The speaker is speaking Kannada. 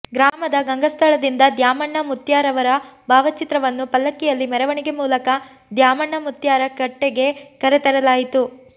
ಗ್ರಾಮದ ಗಂಗಸ್ಥಳದಿಂದ ದ್ಯಾಮಣ್ಣ ಮುತ್ಯಾರವರ ಭಾವಚಿತ್ರವನ್ನು ಪಲ್ಲಕ್ಕಿಯಲ್ಲಿ ಮೆರವಣಿಗೆ ಮೂಲಕ ದ್ಯಾಮಣ್ಣ ಮುತ್ಯಾರ ಕಟ್ಟೆಗೆ ಕರೆ ತರಲಾಯಿತು